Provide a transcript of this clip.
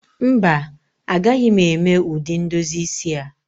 Mba, agaghị m eme ụdị ndozi isi a